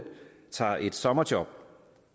tager et sommerjob